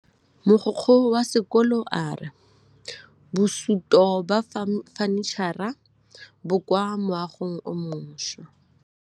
Mogokgo wa sekolo a re bosutô ba fanitšhara bo kwa moagong o mošwa.